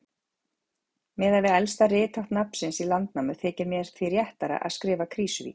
Miðað við elsta rithátt nafnsins í Landnámu þykir mér því réttara að skrifa Krýsuvík.